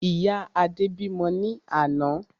Ìyá Adé bímọ ní àná